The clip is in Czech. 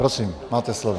Prosím, máte slovo.